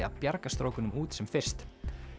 að bjarga strákunum út sem fyrst